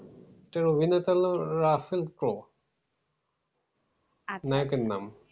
এটার অভিনেতা হলো রাসেল প্রো নায়কের নাম।